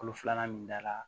Kolo filanan min dala